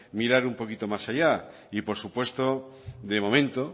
mirar un poquito más allá y por supuesto de momento